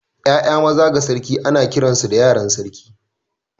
’Ya’ya maza ga sarki ana kiransu da yaran sarki.